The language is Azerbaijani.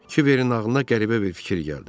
Kiberin ağlına qəribə bir fikir gəldi.